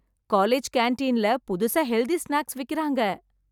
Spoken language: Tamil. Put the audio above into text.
காலேஜ் கேண்டீன்ல புதுசா ஹெல்தி ஸ்னேக்ஸ் விக்கறாங்க.